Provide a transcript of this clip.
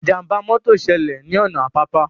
Ìjàmbá mọ́tọ̀ ṣẹlẹ̀ ní ọ̀nà Àpápá